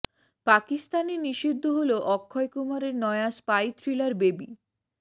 পাকিস্তানে নিষিদ্ধ হল অক্ষয় কুমারের নয়া স্পাই থ্রিলার বেবি